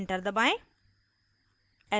enter दबाएं